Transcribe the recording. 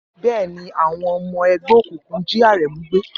Bẹ́ẹ̀ ni, àwọn ọmọ ẹgbẹ́ òkùnkùn jí Aremu gbé.